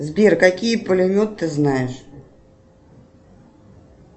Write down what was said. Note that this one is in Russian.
сбер какие пулеметы ты знаешь